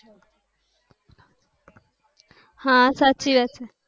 હા સાચી વાત છે